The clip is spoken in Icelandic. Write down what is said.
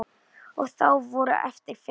Og þá voru eftir fimm.